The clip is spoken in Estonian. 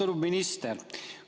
Austatud minister!